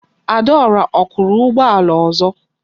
Adaora o kuru ugboala ozo?